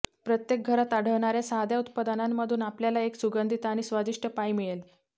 प्रत्येक घरात आढळणाऱ्या साध्या उत्पादनांमधून आपल्याला एक सुगंधित आणि स्वादिष्ट पाई मिळेल